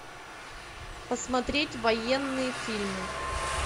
посмотреть военные фильмы